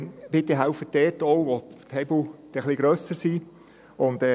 Bitte helfen Sie auch dort, wo die Hebel dann etwas grösser sind.